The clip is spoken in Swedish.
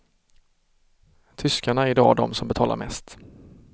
Tyskarna är idag de som betalar mest.